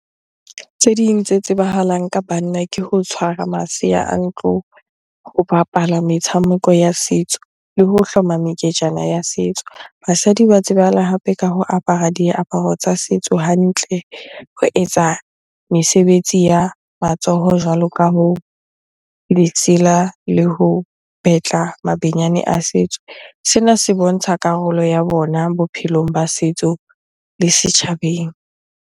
Tse ding tse tsebahalang ka banna ke ho tshwara masea a ntlo, ho bapala metshameko ya setso le ho hloma meketjana ya setso. Basadi ba tsebahala hape ka ho apara diaparo tsa setso hantle, ho etsa mesebetsi ya matsoho jwalo ka hoo, ditsela le ho betla mabenyane a setso. Sena se bontsha karolo ya bona bophelong ba setso le setjhabeng.